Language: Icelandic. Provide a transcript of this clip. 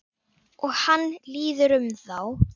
Og hann líður um þá.